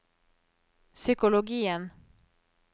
psykologien